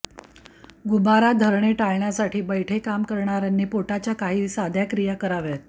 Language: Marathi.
गुबारा धरणे टाळण्यासाठी बैठे काम करणाऱ्यांनी पोटाच्या काही साध्या क्रिया कराव्यात